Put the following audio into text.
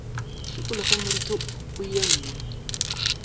šikologe moriti wo ye nngwe